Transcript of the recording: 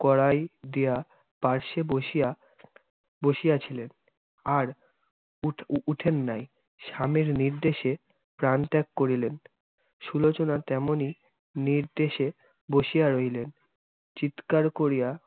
বসিয়া ছিলেন আর উঠ~ উঠেন নাই, স্বামীর নির্দেশে প্রানত্যাগ করিলেন। সুলোচনা তেমনি, নির্দেশে বসিয়া রইলেন। চিৎকার করিয়া